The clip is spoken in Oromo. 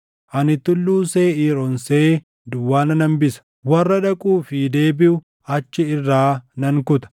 Ani Tulluu Seeʼiir onsee duwwaa nan hambisa; warra dhaquu fi deebiʼu achi irraa nan kuta.